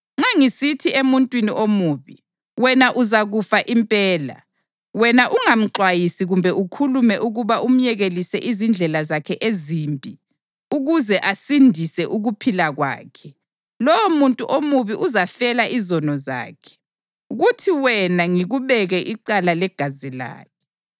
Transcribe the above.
Nxa ngisithi emuntwini omubi, ‘Wena uzakufa impela,’ wena ungamxwayisi kumbe ukhulume ukuba umyekelise izindlela zakhe ezimbi ukuze asindise ukuphila kwakhe, lowomuntu omubi uzafela izono zakhe, kuthi wena ngikubeke icala legazi lakhe.